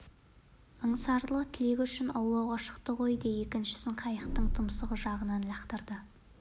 аңсарлы тілегі үшін аулауға шықты ғой де екіншісін қайықтың тұмсық жағынан лақтырды